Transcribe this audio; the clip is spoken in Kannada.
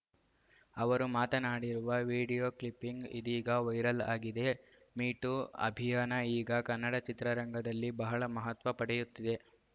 ಅವರು ಮಾತನಾಡಿರುವ ವಿಡಿಯೋ ಕ್ಲಿಪ್ಪಿಂಗ್‌ ಇದೀಗ ವೈರಲ್‌ ಆಗಿದೆ ಮೀ ಟೂ ಅಭಿಯಾನ ಈಗ ಕನ್ನಡ ಚಿತ್ರರಂಗದಲ್ಲಿ ಬಹಳ ಮಹತ್ವ ಪಡೆಯುತ್ತಿದೆ